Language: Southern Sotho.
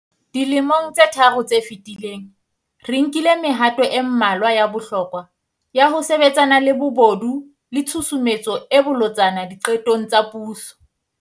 Dilemong tse tharo tse fetileng, re nkile mehato e mmalwa ya bohlokwa ya ho sebetsana le bobodu le tshusumetso e bolotsana diqetong tsa puso.